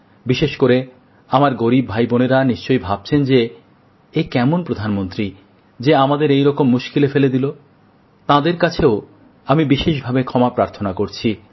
বিশেষ করে আমার গরীব ভাইবোনেরা নিশ্চয়ই ভাবছেন যে এ কেমন প্রধানমন্ত্রী যে আমাদের এই রকম মুস্কিলে ফেলে দিল তাঁদের কাছেও আমি বিশেষভাবে ক্ষমা প্রার্থনা করছি